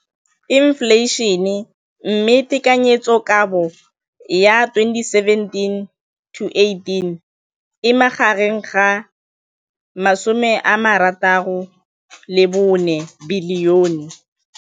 Infleišene, mme tekanyetsokabo ya 2017, 18, e magareng ga R6.4 bilione.